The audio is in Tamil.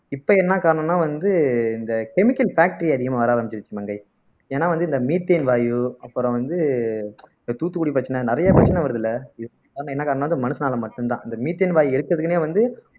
இப்ப என்ன காரணம்ன்னா வந்து இந்த chemical factory அதிகமா வர ஆரம்பிச்சிருச்சு மங்கை ஏன்னா வந்து இந்த methane வாயு அப்புறம் வந்து இப்ப தூத்துக்குடி பிரச்சனை நிறைய பிரச்சனை வருதுல்ல என்ன காரணம்னா அது மனுசனால மட்டும்தான் இந்த methane வாயு எடுக்கிறதுக்குன்னே வந்து